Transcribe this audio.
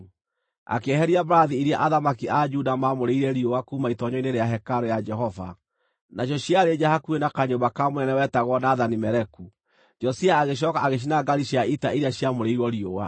Akĩeheria mbarathi iria athamaki a Juda maamũrĩire riũa kuuma itoonyero-inĩ rĩa hekarũ ya Jehova. Nacio ciarĩ nja hakuhĩ na kanyũmba ka mũnene wetagwo Nathani-Meleku. Josia agĩcooka agĩcina ngaari cia ita iria ciamũrĩirwo riũa.